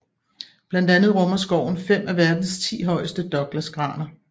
Blandt andet rummer skoven fem af verdens ti højeste Douglasgraner